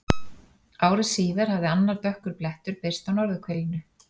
Ári síðar hafði annar dökkur blettur birst á norðurhvelinu.